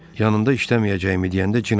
Yanında işləməyəcəyimi deyəndə cin atına mindi.